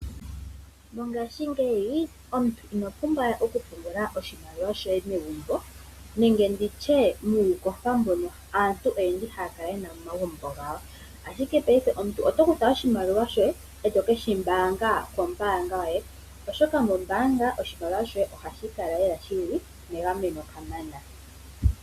Mongaashingeyi omuntu ino pumbwa oku pungula oshimaliwa shoye megumbo. Nenge nditye muundooha mbono aantu haya kala yena momagumbo gawo . Ashike paife omuntu oto kutha oshimaliwa shoye eto keshi mbaanga kombaanga yoye oshoka mombaanga oshimaliwa shoye ohashi kala lela shili megameno kamana.